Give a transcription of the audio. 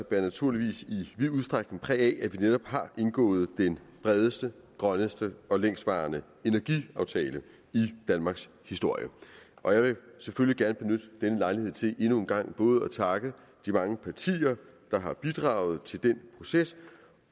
bærer naturligvis i vid udstrækning præg af at vi netop har indgået den bredeste grønneste og længstvarende energiaftale i danmarkshistorien og jeg vil selvfølgelig gerne benytte denne lejlighed til endnu en gang både at takke de mange partier der har bidraget til den proces